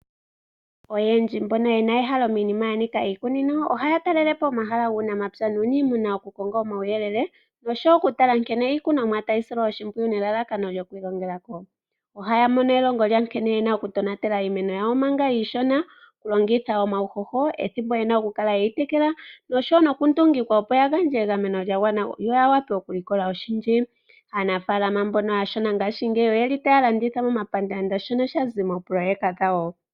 Oyendji mboka yena ehalo miinima ya nika iikunino, ohaa talelepo pomahala ganika uunamapya nuunimuna oku ka konga omawuyelele noshowo oku tala nkene iikunomwa tayi silwa oshimpwiyu nelalakano lyoku ilongela ko. Oha mono elongo lya nkene yena oku tonatelo iimeno yawo manga iishona. Oku longitha omawuhoho, ethimbo yena oku kala yeyi tekela. Noshowo oku noku ndungikwa opo ya gandje egameno lya gwana yoya wape oku likola oshindji. Aanafalama mbono aashona ngashigeyi oyeli taya landitha moma pandaanda shono sha zi moopoloyeka dhawo.